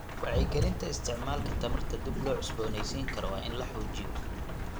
Wacyigelinta isticmaalka tamarta dib loo cusbooneysiin karo waa in la xoojiyo.